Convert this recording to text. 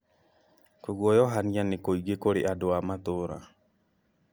Kũguoyohania nĩ kũingĩ kũrĩ andũ a matũra